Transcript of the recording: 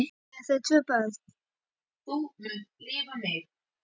Eiga þau tvö börn.